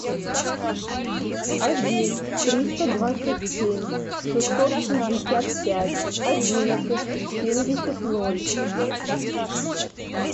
один триста двадцать семь шестьсот шестьдесят пять одиннадцать семьдесят ноль